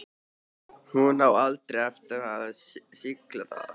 Hún á aldrei eftir að skilja það.